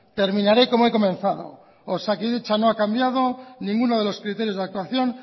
terminaré como he comenzado osakidetza no ha cambiado ninguno de los criterios de actuación